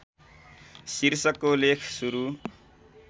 शीर्षकको लेख सुरु